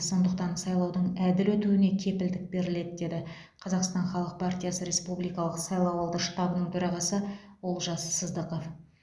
сондықтан сайлаудың әділ өтуіне кепілдік беріледі деді қазақстан халық партиясы республикалық сайлауалды штабының төрағасы олжас сыздықов